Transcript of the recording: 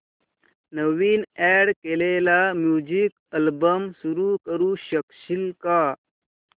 नवीन add केलेला music album सुरू करू शकशील का